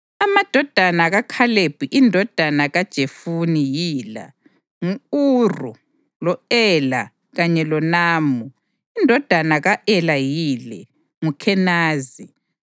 Amadodana kaKhalebi indodana kaJefune yila: ngu-Iru, lo-Ela kanye loNamu. Indodana ka-Ela yile: nguKhenazi.